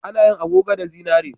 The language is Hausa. A na yin agogo da zinari